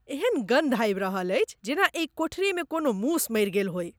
एहन गन्ध आबि रहल अछि जेना एहि कोठरीमे कोनो मूस मरि गेल होय।